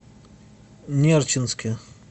нерчинске